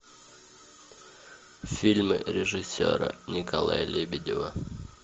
фильмы режиссера николая лебедева